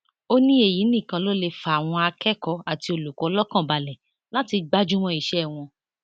ó ní èyí nìkan ló lè fàwọn akẹkọọ àti olùkọ lọkàn balẹ láti gbájú mọ iṣẹ wọn